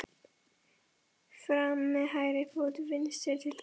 Fram með hægri fót. vinstri til hliðar.